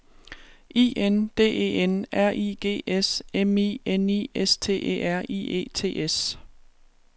I N D E N R I G S M I N I S T E R I E T S